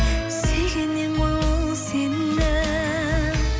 сүйгеннен ғой ол сені